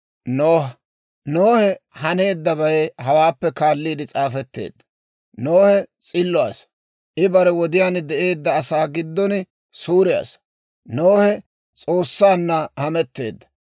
Nohe haneeddabay hawaappe kaalliide s'aafetteedda. Nohe s'illo asaa; I bare wodiyaan de'eedda asaa giddon suure asaa; Nohe S'oossanna hametteedda.